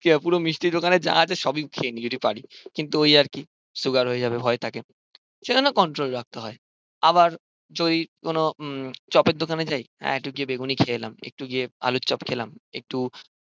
পুরো মিস্টির দোকানে যা আছে সবই খেয়ে নেই যদি পারি কিন্তু ওই আরকি সুগার হয়ে যাবে ভয় থাকে সেজন্য কন্ট্রল রাখতে হয় আবার যদি কোনো উম চপের দোকানে যাই এই একটু গিয়ে বেগুনি খেয়ে এলাম একটু গিয়ে আলুর চপ খেলাম একটু,